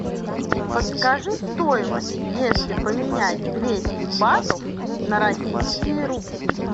подскажи стоимость если поменять двести батов на российские рубли